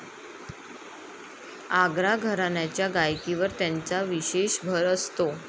आग्रा घराण्याच्या गायकीवर त्यांचा विशेष भर असतो.